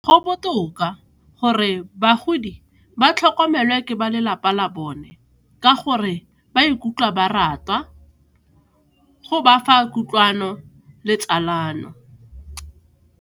Go botoka gore bagodi ba tlhokomelwa ke ba lelapa la bone ka gore ba ikutlwa ba ratwa, go ba fa kutlwano le tsalano.